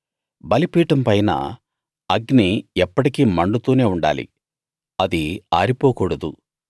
బలిపీఠం పైన అగ్ని ఎప్పటికీ మండుతూనే ఉండాలి అది ఆరిపోకూడదు